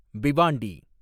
Bhiwandi